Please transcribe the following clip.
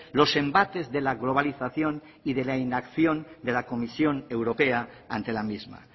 los embates de la globalización y de la inacción de la comisión europea ante la misma